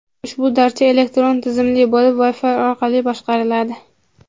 Ushbu darcha elektron tizimli bo‘lib Wi-Fi orqali boshqariladi.